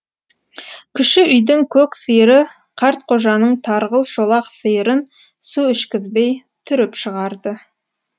кіші үйдің көк сиыры қартқожаның тарғыл шолақ сиырын су ішкізбей түріп шығарды